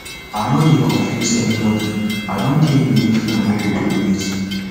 i no dey confuse anybodi i don tell you wetin i no go tolerate